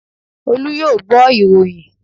Olú yóò gbọ́ ìròyìn